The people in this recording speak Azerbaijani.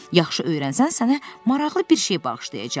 Yaxşı öyrənsən, sənə maraqlı bir şey bağışlayacağam.”